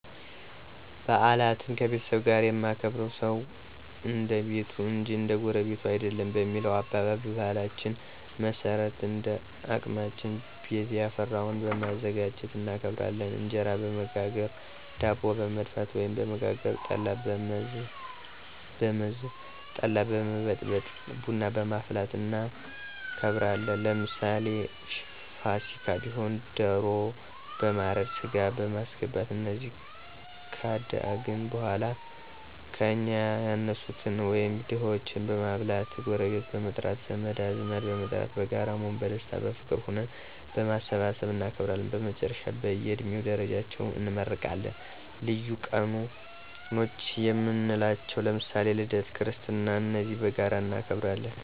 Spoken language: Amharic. ባዓላትን ከቤተሰብ ጋር የማከብርዉ ሰዉ እንደቤቱ እንጅ እንደጎረቤቱ አይደለም በሚለዉ አባባል፣ በባህላችን መሠረት እንደአቅማችን ቤትያፈራዉን በማዘጋጁት እናከብራለን። እንጀራበመጋገር፣ ዳቦበመድፍት፣ ወይም በመጋገር፣ ጠላበመዘ ጠላበመበጥበጥ፣ ቡናበማፍላትእናከብራለን። ለምሳሌ ፍሲካ ቢሆን ደሮ በማረድ፣ ሥጋበማስገባት እነዚህ ካደአግን በኀላ ከእኛ ያነሱትን ወይም ድሆችን በማብላት፣ ጎረቤት በመጥራት፣ ዘመድአዝማድበመጥራት በጋራ በመሆን በደስታ፣ በፍቅር ሁነን በማሠባሠብ እናከብራለን። በመጨረሻም በእየድሜ ደረጃቸው እንመራረቃለን። ልዪ ቀኖችየምንላቸዉ ለምሳሌ ልደት ክርስትና እነዚህም በጋራ እናከብራለን።